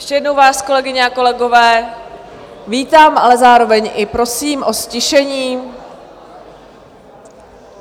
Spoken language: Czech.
Ještě jednou vás, kolegyně a kolegové, vítám, ale zároveň i prosím o ztišení.